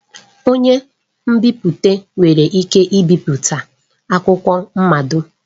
Onye nbipute nwere ike ibipụta akwụkwọ mmado.